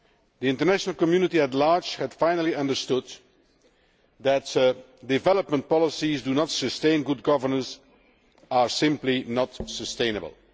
The international community at large had finally understood that development policies which do not sustain good governance are simply not sustainable.